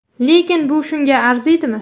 Lekin bu shunga arziydimi?